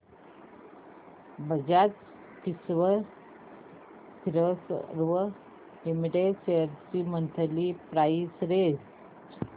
Bajaj Finserv limited shares ची monthly price range